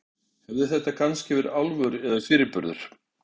Hafði þetta kannski verið álfur, eða fyrirburður?